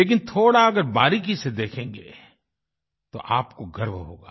लेकिन थोड़ा अगर बारीकी से देखेंगे तो आपको गर्व होगा